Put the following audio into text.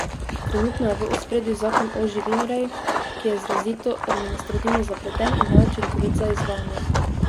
Trenutno je v ospredju zakon o živinoreji, ki je izrazito administrativno zapleten in neučinkovit za izvajanje.